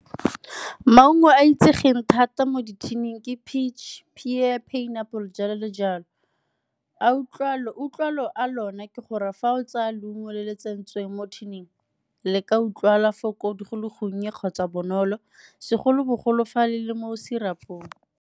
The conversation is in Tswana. Maungo a itsegeng thata mo di-tin-ing ke peach, pear, pineapple jalo le jalo. Utlwalo a lona ke gore fa o tsaya leungo le le tsentsweng mo tin-ing le ka utlwala go le gonnye kgotsa bonolo segolobogolo fa le le mo serup-ong.